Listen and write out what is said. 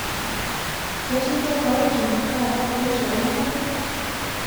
ketii tofauti taata kuhusu enyorrata